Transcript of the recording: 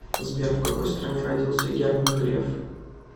сбер в какой стране родился герман греф